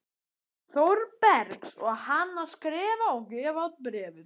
Þórbergs og hann að skrifa og gefa út Bréfið.